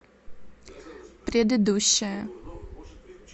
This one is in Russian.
предыдущая